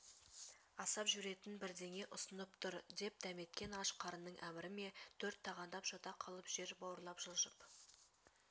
асап жіберетін бірдеңе ұсынып тұр деп дәметкен аш қарынның әмірі ме төрт тағандап жата қалып жер бауырлап жылжып